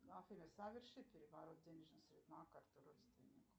афина соверши переворот денежных средств на карту родственнику